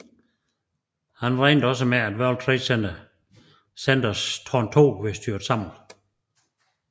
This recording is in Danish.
Han regnede også med at World Trade Centers tårn 2 ville styrte sammen